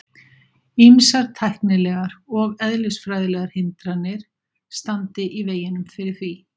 Ýmsar tæknilegar og eðlisfræðilegar hindranir standi í veginum fyrir því.